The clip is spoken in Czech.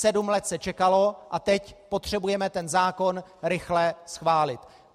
Sedm let se čekalo a teď potřebujeme ten zákon rychle schválit.